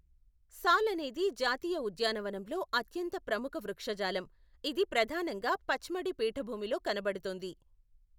సాల్ అనేది జాతీయ ఉద్యానవనంలో అత్యంత ప్రముఖ వృక్షజాలం, ఇది ప్రధానంగా పచ్మడీ పీఠభూమిలో కనబడుతుంది.